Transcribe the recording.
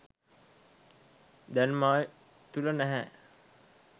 දැන් මා තුළ නැහැ.